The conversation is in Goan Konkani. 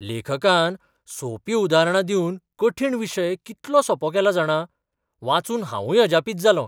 लेखकान सोपीं उदाहरणां दिवन कठीण विशय कितलो सोंपो केला जाणा, वाचून हांवूय अजापीत जालों.